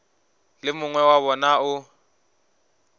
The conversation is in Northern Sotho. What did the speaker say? le mongwe wa bona o